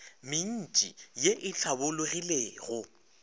mentši ye e hlabologilego ya